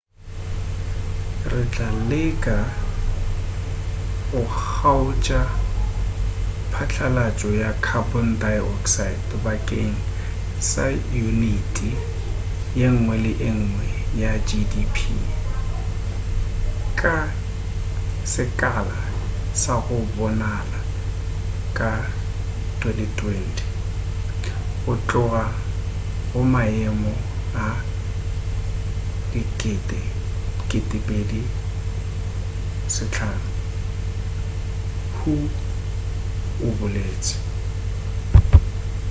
re tla leka go kgaotša phatlalatšo ya carbon dioxide bakeng sa uniti yengwe le yengwe ya gdp ka sekala sa go bonala ka 2020 go tloga go maemo a 2005 hu o boletše